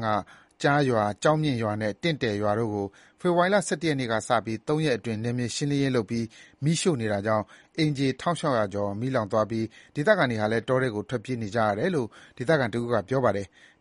က ကျားရွာ၊ ကျောက်မြင့်ရွာနဲ့ တင့်တယ်ရွာတို့ကို ဖေဖော်ဝါရီ ၁၁ ရက်နေ့ကစပြီး ၃ ရက်အတွင်း နယ်မြေရှင်းလင်းရေးလုပ်ပြီး မီးရှို့နေတာကြောင့် အိမ်ခြေ ၁,၆၀၀ ကျော် မီးလောင်သွားပြီး ဒေသခံတွေဟာလည်း တောထဲကို ထွက်ပြေးနေကြရတယ်လို့ ဒေသခံတစ်ဦးက ပြောပါတယ်။